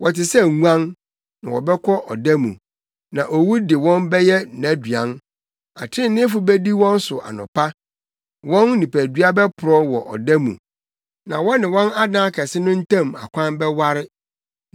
Wɔte sɛ nguan, na wɔbɛkɔ ɔda mu, na owu de wɔn bɛyɛ nʼaduan. Atreneefo bedi wɔn so anɔpa; wɔn nipadua bɛporɔw wɔ ɔda mu, na wɔne wɔn adan akɛse no ntam akwan bɛware.